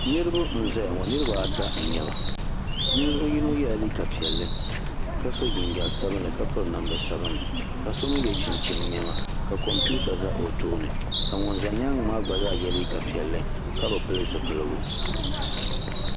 Niriba n zaya ŋɔ niriba ata n nyɛba ninvuɣu yino yɛla liiga piɛlli ka so jinjam sabinli ka piri namda sabinli ka so mi yɛ chinchini niɛma ka kompiwta za o tooni ka ŋun za nyaanga maa yɛ liiga piɛlli ka bi pili zipiligu.